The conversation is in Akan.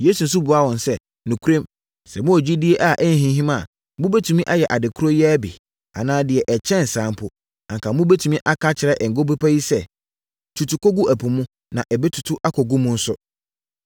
Yesu nso buaa wɔn sɛ, “Nokorɛm, sɛ mowɔ gyidie a ɛnhinhim a, mobɛtumi ayɛ ade korɔ yi ara bi, anaa deɛ ɛkyɛn saa mpo. Anka mobɛtumi aka akyerɛ Ngo Bepɔ yi sɛ, ‘Tutu kɔgu ɛpo mu’, na ɛbɛtutu akɔgu mu nso.